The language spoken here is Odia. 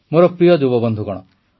ମୋର ପ୍ରିୟ ଯୁବବନ୍ଧୁଗଣ